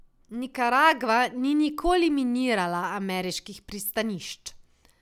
Nikaragva ni nikoli minirala ameriških pristanišč.